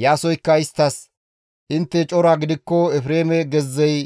Iyaasoykka isttas, «Intte cora gidikko Efreeme gezzey